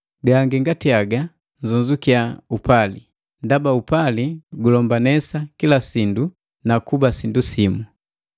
Gangi ngati haga, nnzonzukiya upali, ndaba upali gulombanesa kila sindu na kuba sindu simu.